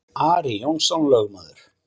Ari Jónsson lögmaður